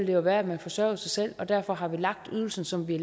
jo være at man forsørgede sig selv og derfor har vi lagt ydelsen som vi